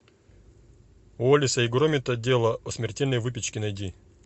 уоллеса и громита дело о смертельной выпечке найди